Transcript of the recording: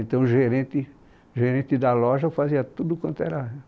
Então, o gerente, gerente da loja fazia tudo quanto era